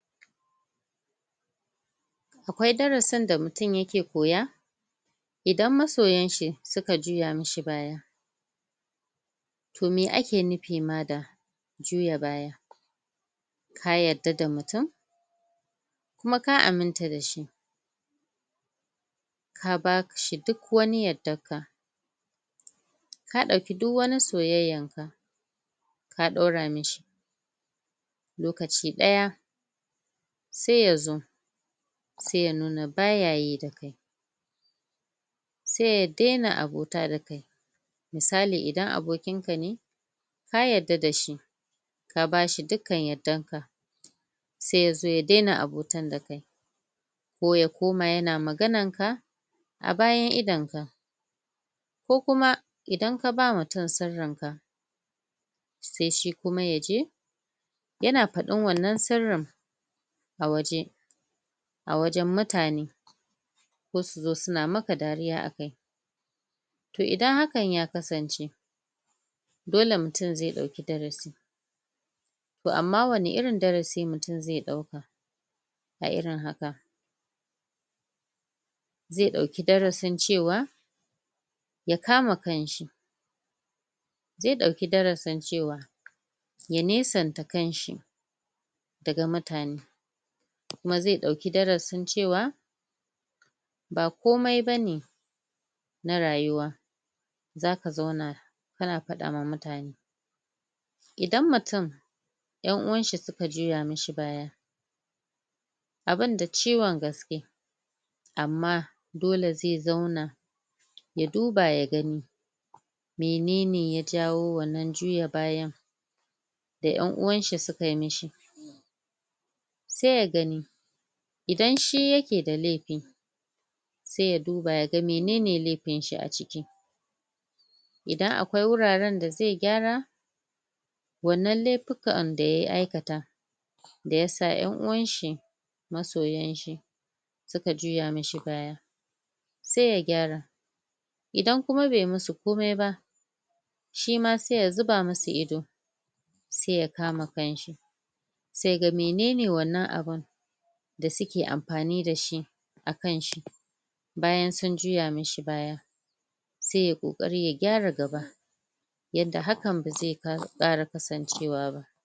akwai darasin da mutum yake koya idan masoyan shi suka juya mishi baya toh meh ake nufi ma da juya baya ka yadda da mutum kuma ka aminta da shi ka bashi duk wani yaddan ka ka dauki duk wani soyayyan ka ka daura mishi lokaci daya sai yazo sai ya nuna baya yi da kai sai ya daina abota da kai misali idan abokin ka ne ka yadda da shi ka bashi dukka yaddan ka sai ya zo ya daina abotan da kai ko ya koma yana maganan ka a bayan idon ka ko kuma idan ka ba mutum sirrin ka sai shi kuma yaje yana faɗin wannan sirrin a waje a wajen mutane ko suzo suna maka dariya a kai toh idan hakan ya kasance dole mutum zai dauki darasi toh amma wani irin darasi mutum zai dauka a irin haka zai dauki darasin cewa ya kama kan shi zai dauki darasin cewa ya nesanta kanshi daga mutane kuma zai dauki darasin cewa ba komai bane na rayuwa zaka zauna kana fadawa mutane idan mutum en'uwan shi suka juya mishi baya abun da ciwon gaske amma dole zai zauna ya duba ya gani menene ya jawo wannan juya bayan da en'uwan shi suka mishi sai ya gani widan shi yake da lefi sai ya duba ya ga menene lefin shi a ciki idan akwai wuraren da zai gyara wannan lefukan ka ya aikata da yasa en uwan shi masoyan shi suka juya mishi baya sai ya gyara idan kuma bai musu komai ba shima sai ya zuba musu ido sai ya kama kanshi sai ya ga menene wannan abun da suke amfani dashi a kan shi bayan sun juya mishi baya sai yayi kokari ya gyara gaba yanda hakan bazai kara kasancewa ba